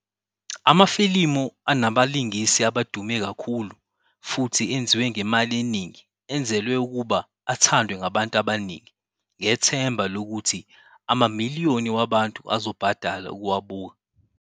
Amafilimu anabalingisi abadume kakhulu futhi enziwe ngemali eningi, enzelwe ukuba athandwe ngabantu abaningi, ngethemba lokuthi amamiliyoni wabantu azobhadala ukuwabuka.